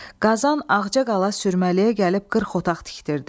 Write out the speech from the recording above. Qazan ağcaqala sürməliyə gəlib 40 otaq tikdirdi.